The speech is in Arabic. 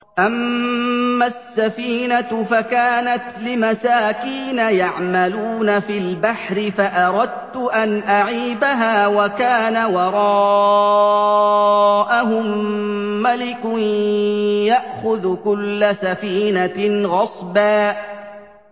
أَمَّا السَّفِينَةُ فَكَانَتْ لِمَسَاكِينَ يَعْمَلُونَ فِي الْبَحْرِ فَأَرَدتُّ أَنْ أَعِيبَهَا وَكَانَ وَرَاءَهُم مَّلِكٌ يَأْخُذُ كُلَّ سَفِينَةٍ غَصْبًا